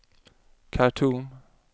Khartoum